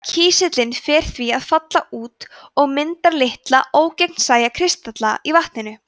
kísillinn fer því að falla út og mynda litla ógegnsæja kristalla í vatninu